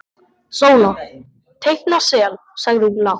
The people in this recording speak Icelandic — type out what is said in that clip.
Sóla teikna sel, sagði hún lágt.